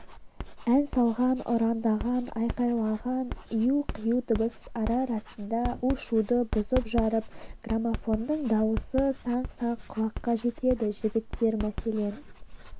ән салған ұрандаған айқайлаған ию-қию дыбыс ара-арасында у-шуды бұзып-жарып граммофонның дауысы саңқ-саңқ құлаққа жетеді жігіттер мәселен